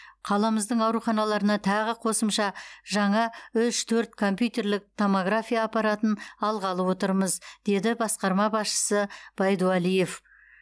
қаламыздың ауруханаларына тағы қосымша жаңа үш төрт компьютерлік томография аппаратын алғалы отырмыз деді басқарма басшысы байдувалиев